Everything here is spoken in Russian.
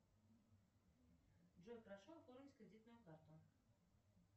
джой прошу оформить кредитную карту